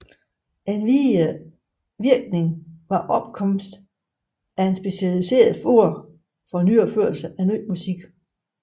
En videre virkning var opkomsten af specialiserede fora for opførelse af ny musik